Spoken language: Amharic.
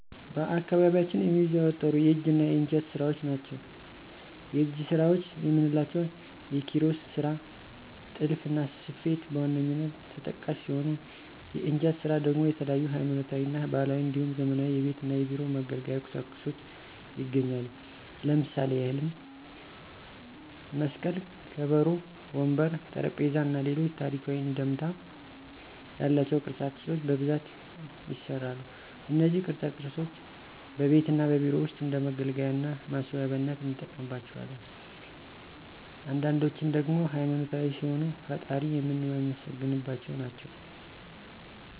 በአካባቢያችን የሚዘወተሩ የእጅ እና የእንጨት ስራዎች ናቸው። የእጅ ስራዎች የምንላቸው የኪሮሽ ስራ፣ ጥልፍና ስፌት በዋነኛነት ተጠቃሽ ሲሆኑ የእንጨት ስራ ደግሞ የተለያዩ ሀይማኖታዊ እና ባህላዊ እንዲሁም ዘመናዊ የቤት እና የቢሮ መገልገያ ቁሳቁሶች ይገኛሉ። ለምሳሌ ያህልም መስቀል፣ ከበሮ፣ ወንበር፣ ጠረጴዛ እና ሌሎች ታሪካዊ አንድምታ ያላቸው ቅርፃ ቅርፆች በብዛት ይሰራሉ። እነዚህ ቅርፃ ቅርፆች በቤት እና በቢሮ ውስጥ እንደ መገልገያ እና ማስዋቢያነት እንጠቀምባቸዋለን። አንዳንዶችን ደግሞ ሃይማኖታዊ ሲሆኑ ፈጣሪን የምናመሰግንባቸው ናቸው።